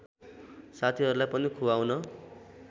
साथीहरूलाई पनि खुवाउन